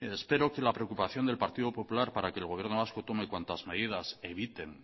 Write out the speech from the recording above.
espero que la preocupación del partido popular para que el gobierno vasco tome cuantas medidas eviten